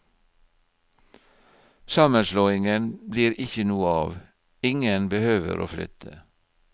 Sammenslåingen blir ikke noe av, ingen behøver å flytte.